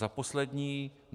Za poslední.